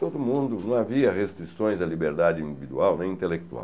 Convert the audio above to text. Todo mundo... Não havia restrições à liberdade individual nem intelectual.